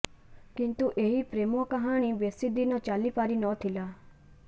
କିନ୍ତୁ ଏହି ପ୍ରେମ କାହାଣୀ ବେଶୀଦିନ ଚାଲିପାରି ନ ଥିଲା